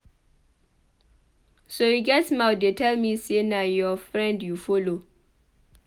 So you get mouth dey tell me say na your friend you follow.